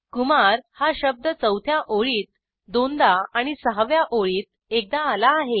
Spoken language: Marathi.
कुमार हा शब्द चौथ्या ओळीत दोनदा आणि सहाव्या ओळीत एकदा आला आहे